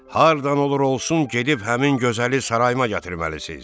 Hardan olur olsun gedib həmin gözəli sarayıma gətirməlisiz.